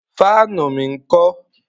Fáànù mi ńkọ́?